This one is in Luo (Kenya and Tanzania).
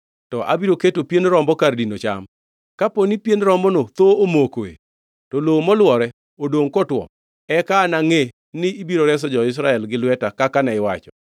to abiro keto pien rombo kar dino cham. Kapo ni pien rombono thoo omokoe, to lowo molwore odongʼ kotwo, eka anangʼe ni ibiro reso jo-Israel gi lweta kaka ne iwacho.”